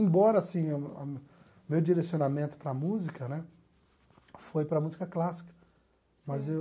Embora assim a a meu direcionamento para a música né foi para a música clássica fazer